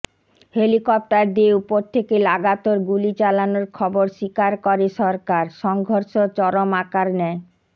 helicopter দিয়ে উপর থেকে লাগাতার গুলি চালানোর খবর স্বীকার করে সরকার সংঘর্ষ চরম আকার নেয়